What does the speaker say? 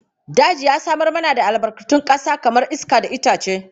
Daji ya samar mana da albarkatun ƙasa kamar iska da itace.